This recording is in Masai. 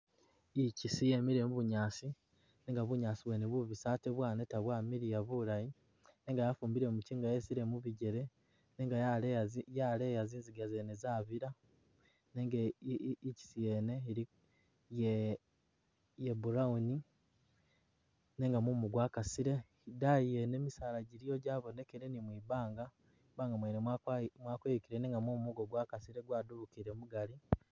I'chisi yemele mu bunyaasi nenga bunyaasi bwene bubisi ate bwaneta bwa miliya bulayi nenga yafumbile muchinga yesile mubigele nenga yaleya zi yaleya zinziga zene zabila nenga i'chisi yene ye.. eya brown nenga mumu gwakasile i'daayi yene yene misaala jabonekele ni mwibanga, mwibanga mwene mwapayu.., mwakeyukile nenga mumu nigwo gwakasile gwadubukile mugali